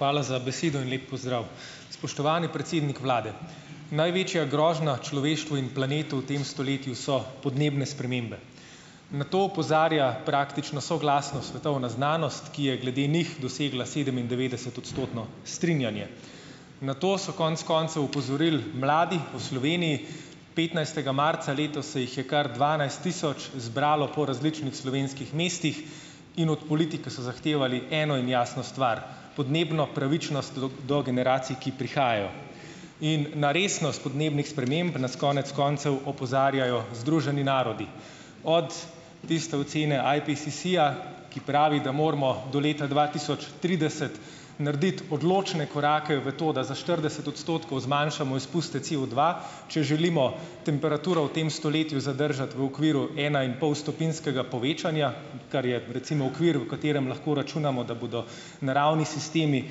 Hvala za besedo in lep pozdrav. Spoštovani predsednik vlade. Največja grožnja človeštvu in planetu v tem stoletju so podnebne spremembe. Na to opozarja, praktično soglasno, svetovna znanost, ki je glede njih dosegla sedemindevetdeset- odstotno strinjanje. Na to so konec koncev opozorili mladi po Sloveniji. Petnajstega marca letos se jih je kar dvanajst tisoč zbralo po različnih slovenskih mestih in od politike so zahtevali eno in jasno stvar: podnebno pravičnost do generacij, ki prihajajo. In na resnost podnebnih sprememb nas konec koncev opozarjajo Združeni narodi. Od tiste ocene IPCC-ja, ki pravi, da moramo do leta dva tisoč trideset narediti odločne korake v to, da za štirideset odstotkov zmanjšamo izpuste COdva, če želimo temperaturo v tem stoletju zadržati v okviru enainpolstopinjskega povečanja, ker je recimo v okviru, v katerem lahko računamo, da bodo naravni sistemi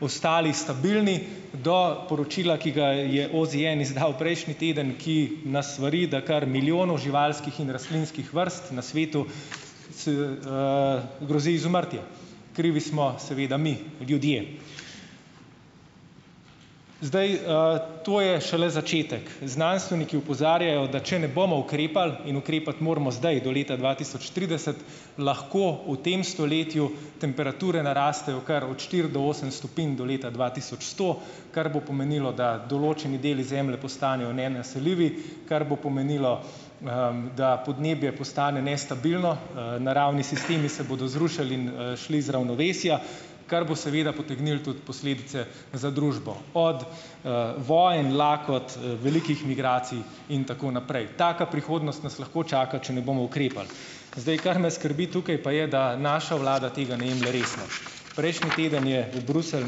postali stabilni do poročila, ki ga je OZN izdal prejšnji teden, ki nas svari, da kar milijonov živalskih in rastlinskih vrst na svetu grozi izumrtje. Krivi smo seveda mi, ljudje. Zdaj, to je šele začetek. Znanstveniki opozarjajo, da če ne bomo ukrepali, in ukrepati moramo zdaj, do leta dva tisoč trideset, lahko v tem stoletju temperature narastejo kar od štiri do osem stopinj do leta dva tisoč sto, kar bo pomenilo, da določeni deli zemlje postanejo nenaseljivi, kar bo pomenilo, da podnebje postane nestabilno, naravni sistemi se bodo zrušili in, šli iz ravnovesja, kar bo seveda potegnilo tudi posledice za družbo. Od, vojn, lakot, velikih migracij in tako naprej. Taka prihodnost nas lahko čaka, če ne bomo ukrepali. Zdaj, kar nas skrbi tukaj, pa je, da naša vlada tega ne jemlje resno . Prejšnji teden je v Bruselj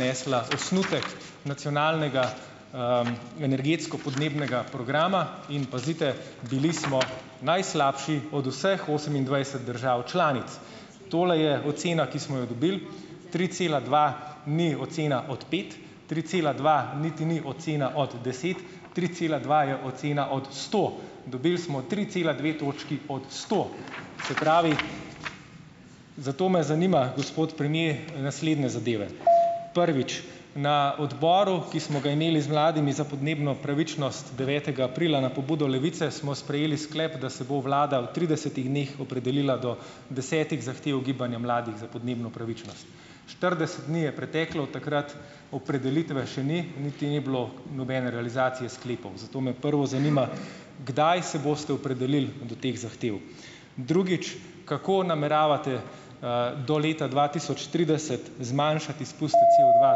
nesla osnutek nacionalnega, energetsko- podnebnega programa, in pazite, bili smo najslabši od vseh osemindvajset držav članic. Tole je ocena, ki smo jo dobili : tri cela dva ni ocena od pet. Tri cela dva niti ni ocena od deset. Tri cela dva je ocena od sto. Dobili smo tri cela dve točki od sto. Se pravi , zato me zanima, gospod premier, naslednje zadeve: Prvič, na odboru, ki smo ga imeli z mladimi za podnebno pravičnost devetega aprila na pobudo Levice, smo sprejeli sklep, da se bo vlada v tridesetih dneh opredelila do desetih zahtev gibanja mladih za podnebno pravičnost. Štirideset dni je preteklo od takrat, opredelitve še ni, niti ni bilo nobene realizacije sklepov. Zato me prvo zanima , kdaj se boste opredelili do teh zahtev. Drugič, kako nameravate, do leta dva tisoč trideset zmanjšati izpuste COdva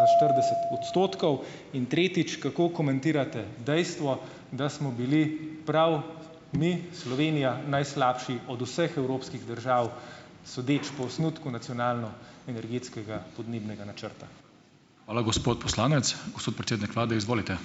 za štirideset odstotkov ? In tretjič, kako komentirate dejstvo, da smo bili prav mi, Slovenija , najslabši od vseh evropskih držav, sodeč po osnutku nacionalno energetskega podnebnega načrta? Hvala gospod poslanec. Gospod predsednik vlade, izvolite.